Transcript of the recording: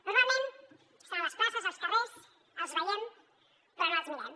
normalment estan a les places als carrers els veiem però no els mirem